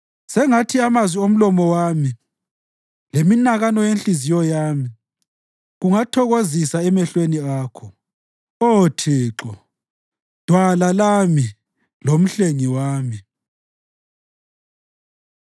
Sengathi amazwi omlomo wami leminakano yenhliziyo yami kungathokozisa emehlweni akho, Oh Thixo, Dwala lami loMhlengi wami.